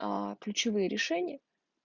аа ключевые решения